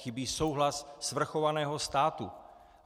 Chybí souhlas svrchovaného státu.